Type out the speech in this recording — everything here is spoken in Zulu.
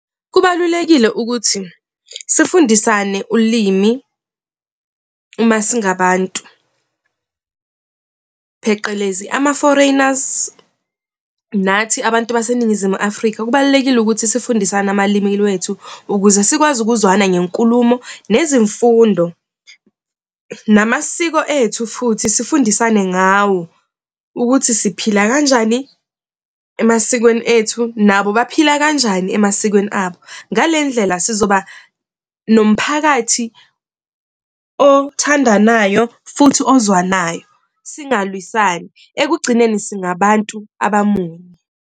Kubalulekile ukuthi sifundisane ulimi masingabantu pheqelezi ama-foreigners nathi abantu baseNingizimu Afrika. Kubalulekile ukuthi sifundisane amalimini wethu ukuze sikwazi ukuzwana ngenkulumo nezimfundo namasiko ethu futhi sifundisane ngawo ukuthi siphila kanjani emasikweni ethu nabo baphila kanjani emasikweni abo. Ngale ndlela sizoba nomphakathi othandanayo futhi ozwanayo singalwisani ekugcineni, singabantu abamunye.